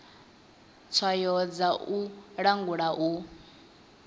tswayo dza u langula u